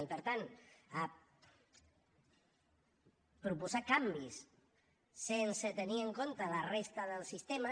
i per tant proposar canvis sense tenir en compte la resta del sistema